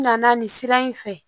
N nana nin sira in fɛ